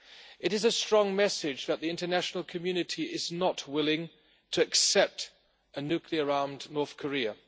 It is a strong message that the international community is not willing to accept a nuclear armed North Korea.